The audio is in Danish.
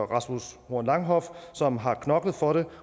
rasmus horn langhoff som har knoklet for det